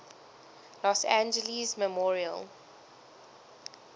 los angeles memorial